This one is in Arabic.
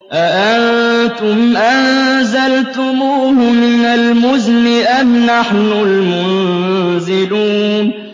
أَأَنتُمْ أَنزَلْتُمُوهُ مِنَ الْمُزْنِ أَمْ نَحْنُ الْمُنزِلُونَ